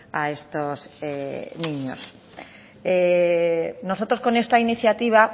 a estos niños nosotros con esta iniciativa